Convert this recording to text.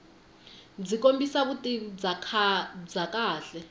byi kombisa vutivi bya kahle